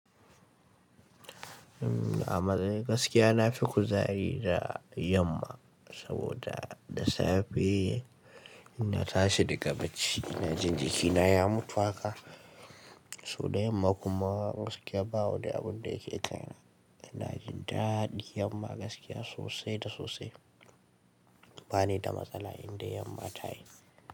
Amma dai gaskiya na fi kuzari da yamma saboda da safe ina tashi daga bacci ina jin jikina ya mutu haka. Toh da yamma kuma gaskiya babu wani abun da yake kai na. Ina jin daɗi yamma gaskiya sosai da sosai. Ba ni da matsala inda yamma ta yi.